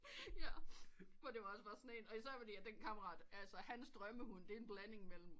Jaer men det var også bare sådan en især fordi den kammerat hans drømme hund det er en blanding mellem